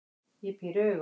Ég píri augun.